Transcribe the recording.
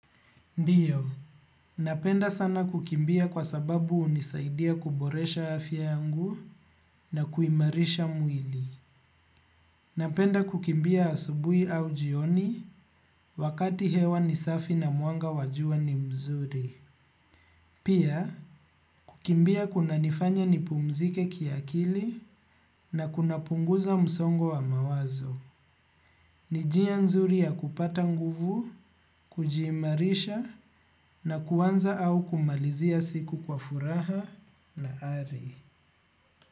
Ndiyo, napenda sana kukimbia kwa sababu hunisaidia kuboresha afya yangu na kuimarisha mwili. Napenda kukimbia asubuhi au jioni wakati hewa ni safi na mwanga wa jua ni mzuri. Pia, kukimbia kunanifanya nipumzike kiakili na kunapunguza msongo wa mawazo. Ni njia nzuri ya kupata nguvu, kujiimarisha na kuanza au kumalizia siku kwa furaha na ari.